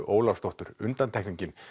Ólafsdóttur undantekningin